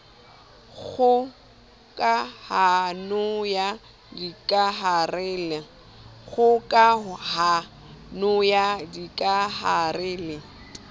kgoka hano ya dikahare le